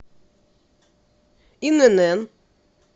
инн